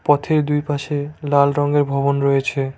পথের দুইপাশে লাল রঙের ভবন রয়েছে।